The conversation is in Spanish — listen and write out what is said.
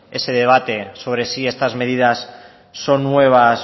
ese debate sobre si estas medidas son nuevas